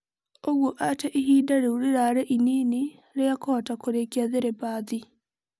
ũgũo atĩ ihinda rĩũ rĩrarĩ inini rĩa kũhota kũrĩkia thĩrabathi.